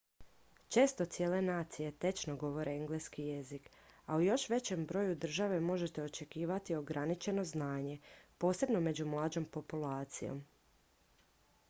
često cijele nacije tečno govore engleski jezik a u još većem broju država možete očekivati ograničeno znanje posebno među mlađom populacijom